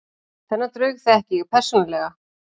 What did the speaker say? Þennan draug þekki ég persónulega.